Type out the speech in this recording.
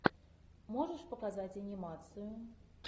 можешь показать анимацию